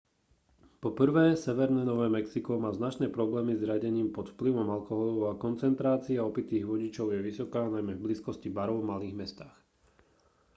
po prvé severné nové mexiko má značné problémy s riadením pod vplyvom alkoholu a koncentrácia opitých vodičov je vysoká najmä v blízkosti barov v malých mestách